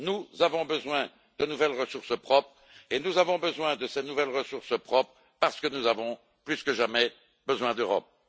Nous avons besoin de nouvelles ressources propres et nous avons besoin de ces nouvelles ressources propres, parce que nous avons plus que jamais besoin d'Europe.